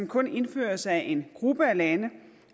kun indføres af en gruppe af lande